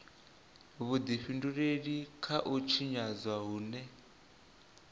vhudifhinduleli kha u tshinyadzwa hune